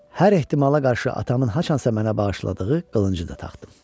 Hər ehtimala qarşı atamın haçansa mənə bağışladığı qılıncı da taxdım.